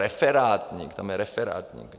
Referátník, tam je referátník.